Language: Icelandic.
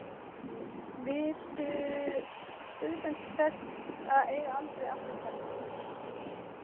Viltu utan til þess að eiga aldrei afturkvæmt?